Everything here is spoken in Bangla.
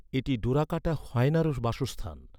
এটি ডোরাকাটা হায়েনারও বাসস্থান।